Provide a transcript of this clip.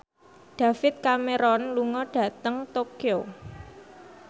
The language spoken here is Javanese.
David Cameron lunga dhateng Tokyo